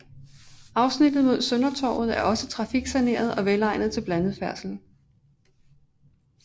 Afsnittet mod Søndertorvet er også trafiksaneret og velegnet til blandet færdsel